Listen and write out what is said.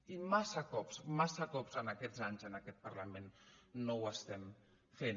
i massa cops massa cops en aquests anys en aquest parlament no ho estem fent